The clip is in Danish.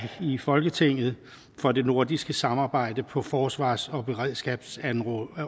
i folketinget for det nordiske samarbejde på forsvars og beredskabsområdet